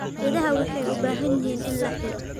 Idaha waxay u baahan yihiin in la xiiro.